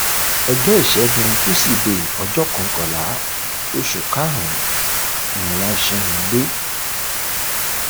ọjọ ìṣẹgun tuside ọjọ kọkànlá oṣù karùnún ni wọn ṣì wọn dé